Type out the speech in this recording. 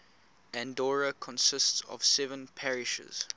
andorra consists of seven parishes